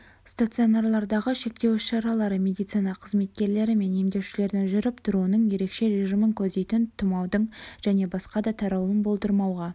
стационарлардағы шектеу іс-шаралары медицина қызметкерлері мен емделушілердің жүріп-тұруының ерекше режимін көздейтін тұмаудың және басқа да таралуын болдырмауға